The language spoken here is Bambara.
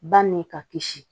Ba ni ka kisi